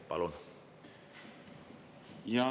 Palun!